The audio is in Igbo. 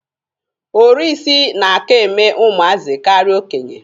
oriisi na-aka eme ụmụazị karịa okenye.